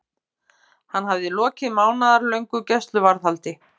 Hann hafði lokið mánaðarlöngu gæsluvarðhaldi.